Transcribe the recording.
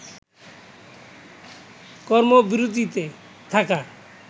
কর্মবিরতিতে থাকা